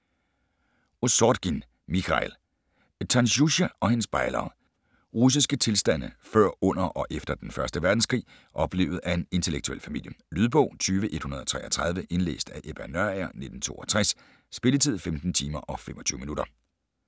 Ossorgin, Michail: Tanjuscha og hendes bejlere Russiske tilstande før, under og efter den 1. verdenskrig oplevet af en intellektuel familie. Lydbog 20133 Indlæst af Ebba Nørager, 1962. Spilletid: 15 timer, 25 minutter.